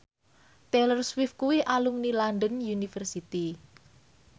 Taylor Swift kuwi alumni London University